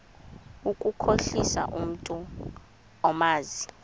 ukukhohlisa umntu omazi